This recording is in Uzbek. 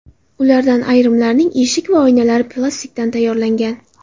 Ulardan ayrimlarining eshik va oynalari plastikdan tayyorlangan.